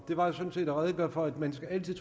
var jo sådan set at redegøre for at man altid